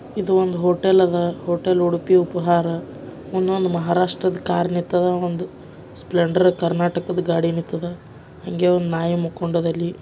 ಇದು ಒಂದು ಹೋಟೆಲದ ಅದ್ ಹೋಟೆಲ್ ಉಡುಪಿ ಉಪಹಾರ ಮಹಾರಾಷ್ಟ್ರದ ಒಂದು ಕಾರ್ ನಿಂತೈತೆ ಒಂದು ಸ್ಪ್ಲೆಂಡರ್ ಗಾಡಿ ನಿಂದೈತೆ ಹಂಗೆ ಒಂದು ನಾಯಿ ಮಲ್ಕೊಂಡಿದೆ ಅಲ್ಲಿ.